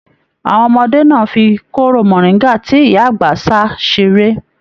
Àwọn ọmọdé náà fí kóró moringa tí ìyá àgbà sa seré.